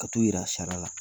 A t'o yira sariya la.